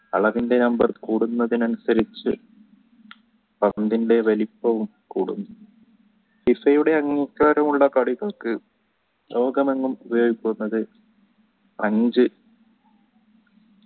അളവിൻടെ number കൂടുന്നതിനനുസരിച്ചു പന്തിന്ടെ വലിപ്പവും കൂടും FIFA യുടെ അംഗീകാരമുള്ള കളികൾക്ക് ലോകമെങ്ങും അഞ്ചു